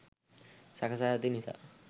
සකසා ඇති නිසා